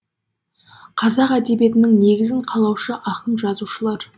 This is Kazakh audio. қазақ әдебиетінің негізін қалаушы ақын жазушылар